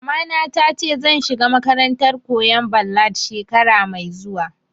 Mamana ta ce zan shiga makarantar koyan ballad shekara mai zuwa